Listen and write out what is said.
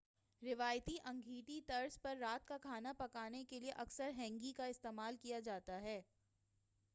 روایتی انگیٹھی طرز پر رات کا کھانا پکانے کیلئے اکثر ہینگی کا استعمال کیا جاتا ہے